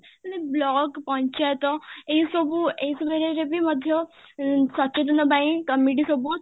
ମାନେ block, ପଚାୟତ, ଏଇ ସବୁ ଏଇ ସବୁ ଜାଗାରେ ବି ମଧ୍ୟ ଅ ସଚେତନ ପାଇଁ committee ସବୁ